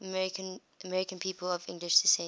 american people of english descent